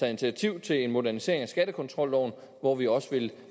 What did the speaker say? initiativ til en modernisering af skattekontrolloven hvor vi også vil